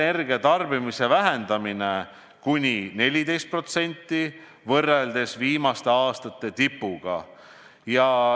Primaarenergia tarbimist tuleb vähendada kuni 14% võrreldes viimaste aastate tipuga.